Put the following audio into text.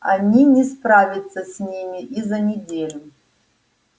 они не справятся с ними и за неделю